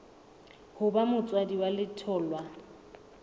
ho ba motswadi wa letholwa